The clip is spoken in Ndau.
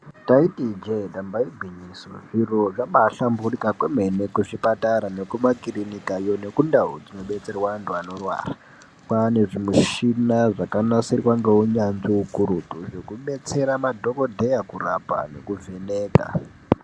Ndaiti ijee ndamba igwinyiso zviro zvabaa hlamburika kwemene kuzvipatara nekumakirinikiyo nekundau dzinobetserwa antu anorwara kwaane zvimishina zvakanasirwa ngeunyanzvi ukurutu zvekubetsera madhokodheya kurapa nekuvheneka.